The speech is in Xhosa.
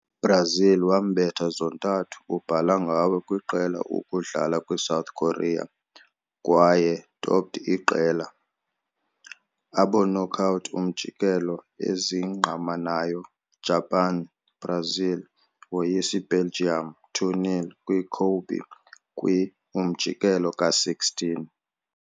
Brazil wambetha zontathu ubhala ngawe kwiqela ukudlala kwi-South Korea kwaye topped iqela. Abo knockout umjikelo ezingqamanayo Japan, Brazil woyisa Belgium 2-0 kwi-Kobe kwi-umjikelo ka-16.